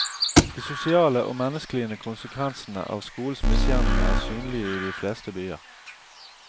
De sosiale og menneskelige konsekvensene av skolens misgjerninger er synlige i de fleste byer.